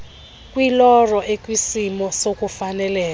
kwiloro ekwisimo sokufaneleka